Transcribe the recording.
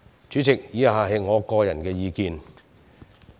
主席，以下是我的個人意見。